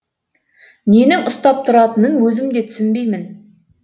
ненің ұстап тұратынын өзім де түсінбеймін